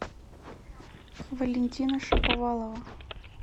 валентина шаповалова